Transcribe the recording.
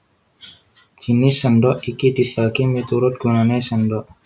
Jinis sèndhok iki dibagi miturut gunané sèndhok